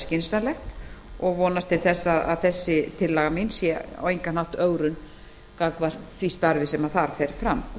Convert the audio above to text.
skynsamlegt og vonast til að þessi tillaga mín sé á engan hátt ögrun gagnvart því starfi sem þar fer fram